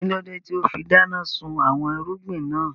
Kílódé tíì ó fi dáná sun àwọn irúgbìn náà